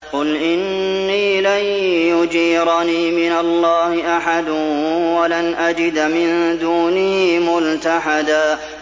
قُلْ إِنِّي لَن يُجِيرَنِي مِنَ اللَّهِ أَحَدٌ وَلَنْ أَجِدَ مِن دُونِهِ مُلْتَحَدًا